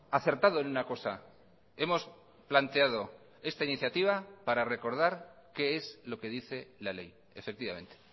ha acertado en una cosa hemos planteado esta iniciativa para recordar qué es lo que dice la ley efectivamente